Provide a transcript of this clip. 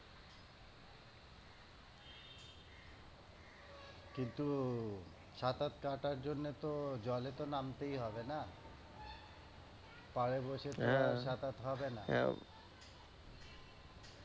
কিন্তু সাতার কাঁটার জন্যে তো জলে তো নামতেই হবে না? পাড়ে বসে তো আর সাঁতার হবে না।